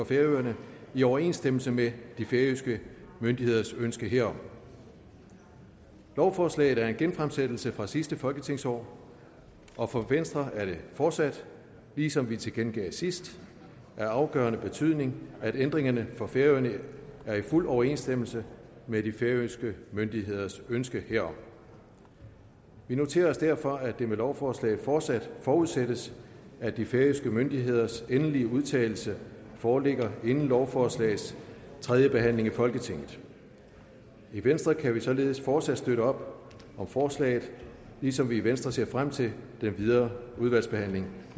færøerne i overensstemmelse med de færøske myndigheders ønske herom lovforslaget er en genfremsættelse fra sidste folketingsår og for venstre er det fortsat ligesom vi tilkendegav sidst af afgørende betydning at ændringerne for færøerne er i fuld overensstemmelse med de færøske myndigheders ønske herom vi noterer os derfor at det med lovforslaget fortsat forudsættes at de færøske myndigheders endelige udtalelse foreligger inden lovforslagets tredje behandling i folketinget i venstre kan vi således fortsat støtte op om forslaget ligesom vi i venstre ser frem til den videre udvalgsbehandling